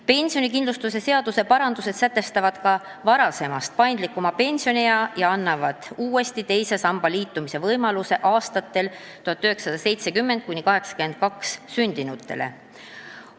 Pensionikindlustuse seaduse parandused sätestavad ka varasemast paindlikuma pensioniea ja annavad uuesti teise sambaga liitumise võimaluse aastatel 1970–1982 sündinutele.